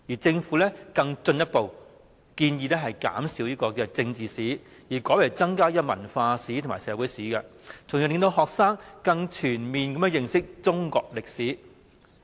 政府更進一步建議減少政治史，改為增加文化史和社會史，從而令學生可以更全面地認識中國歷史。